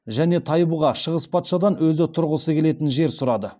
және тайбұға шыңғыс патшадан өзі тұрғысы келетін жер сұрады